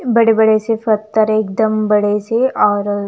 बड़े बड़े से पत्थर है एक दम बड़े से और--